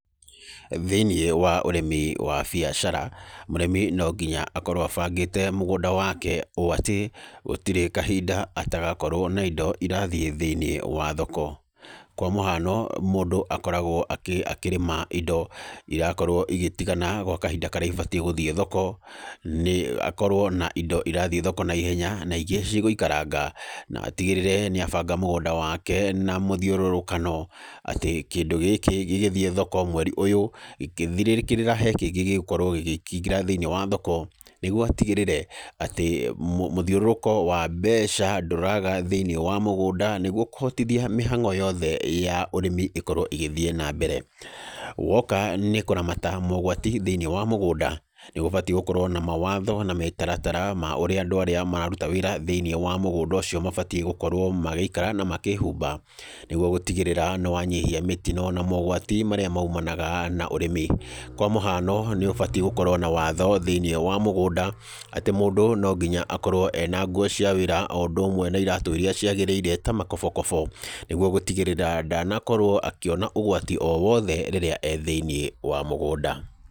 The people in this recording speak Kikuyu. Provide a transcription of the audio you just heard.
Thĩiniĩ wa ũrĩmi wa biacara, mũrĩmi no nginya akorwo abangĩte mũgũnda wake ũũ atĩ, gũtirĩ kahinda atagokorwo na indo irathiĩ thĩiniĩ wa thoko. Kwa mũhano, mũndũ akoragwo akĩrĩma indo irakorwo igĩtigana gwa kahinda karĩa ibatiĩ gũthiĩ thoko, nĩ akorwo na indo irathiĩ thoko naihenya, na ingĩ cigũikaranga. Na atigĩrĩre nĩ abanga mũgũnda wake, na mũthiũrũrũkano, atĩ kĩndũ gĩkĩ gĩgĩthiĩ thoko mweri ũyũ, gĩkĩthirĩrĩkĩra he kĩngĩ gĩgĩkorwo gĩgĩkĩingĩra thĩiniĩ wa thoko. Nĩguo atigĩrĩre atĩ mũthiũrũrũko wa mbeca ndũraga thĩiniĩ wa mũgũnda nĩguo kũhotithia mĩhang'o yothe ya ũrĩmi ĩkorwo ĩgĩthiĩ na mbere. Woka nĩ kũramata mogwati thĩiniĩ wa mũgũnda, nĩ gũbatiĩ gũkorwo na mawatho na mĩtaratara ma ũrĩa andũ arĩa mararuta wĩra thĩiniĩ wa mũgũnda ũcio mabatiĩ gũkorwo magĩikara na makĩhumba, nĩguo gũtigĩrĩra nĩ wanyihia mĩtino na mogwati marĩa maumanaga na ũrĩmi. Kwa mũhano nĩ ũbatiĩ gũkorwo na watho thĩiniĩ wa mũgũnda, atĩ mũndũ no nginya akorwo ena nguo cia wĩra o ũndũ ũmwe na iraatũ irĩa ciagĩrĩire ta makobokobo, nĩguo gũtigĩrĩra ndanakorwo akĩona ũgwati o wothe rĩrĩa ee thĩiniĩ wa mũgũnda.